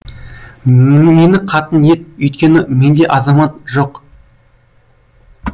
мені қатын ет үйткені менде азамат жоқ